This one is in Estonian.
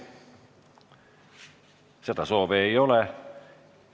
Seda ei ole.